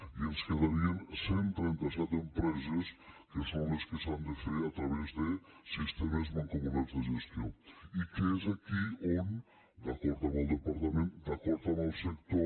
i ens quedarien cent i trenta set empreses que són les que s’han de fer a través de sistemes mancomunats de gestió i és aquí on d’acord amb el departament d’acord amb el sector